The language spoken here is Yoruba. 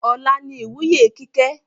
Ọ̀la ni ìwúyè Kíkẹ́